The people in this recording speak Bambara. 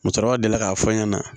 Musokɔrɔba delila k'a fɔ n ɲɛna